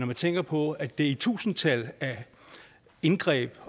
man tænker på at det er i tusindtal af indgreb